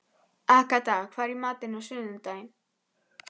Agatha, hvað er í matinn á sunnudaginn?